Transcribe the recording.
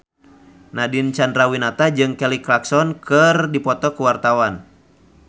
Nadine Chandrawinata jeung Kelly Clarkson keur dipoto ku wartawan